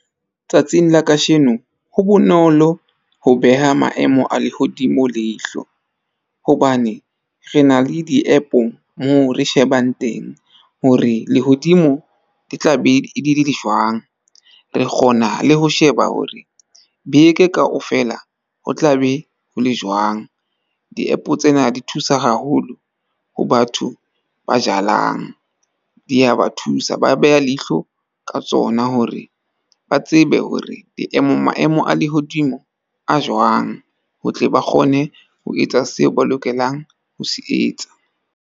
Tsatsing la kasheno ho bonolo ho beha maemo a lehodimo leihlo. Hobane re na le di-app-o moo re shebang teng hore lehodimo ke tla be e le jwang. Re kgona le ho sheba hore beke kaofela ho tla be ho le jwang. Di-app-o tsena di thusa haholo ho batho ba jalang. Di ya ba thusa, ba beha leihlo ka tsona hore ba tsebe hore maemong a lehodimo a jwang, ho tle ba kgone ho etsa seo ba lokelang ho se etsa.